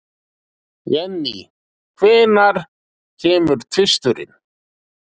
Jenny, hvenær kemur tvisturinn?